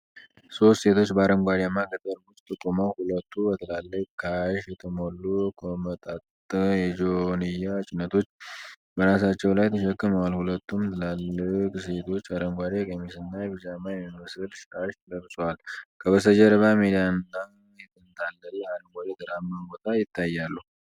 ሦስት ሴቶች በአረንጓዴማ ገጠር ውስጥ ቆመው ሁለቱ በትልቅ ካሽ የተሞሉ ኮመጠጠ የጆንያ ጭነቶች በራሳቸው ላይ ተሸክመዋል። ሁለቱም ትልልቅ ሴቶች አረንጓዴ ቀሚስና ቢጃማ የሚመስል ሻሽ ለብሰዋል፤ ከበስተጀርባ ሜዳና የተንጣለለ አረንጓዴ ተራራማ ቦታ ይታያል።